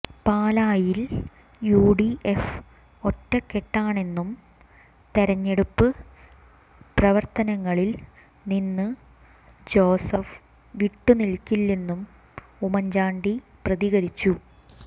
പാലായിൽ യുഡിഎഫ് ഒറ്റക്കെട്ടാണെന്നും തെരഞ്ഞെടുപ്പ് പ്രവർത്തനങ്ങളിൽ നിന്ന് ജോസഫ് വിട്ടു നിൽക്കില്ലെന്നും ഉമ്മൻ ചാണ്ടി പ്രതികരിച്ചു